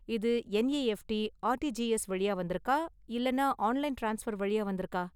இது NEFT, RTGS வழியா வந்திருக்கா இல்லனா ஆன்லைன் ட்ரான்ஸ்பர் வழியா வந்திருக்கா?